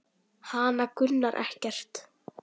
Hana grunar ekkert.